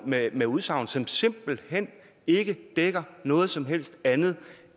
med udsagn som simpelt hen ikke dækker noget som helst andet